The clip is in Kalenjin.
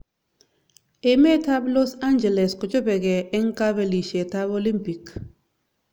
Emet ab Los angeles kochopekei eng kabelishet ab Olimpik.